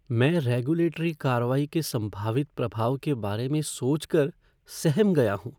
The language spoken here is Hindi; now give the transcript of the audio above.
मैं रेगुलेटरी कार्रवाई के संभावित प्रभाव के बारे में सोच कर सहम गया हूँ।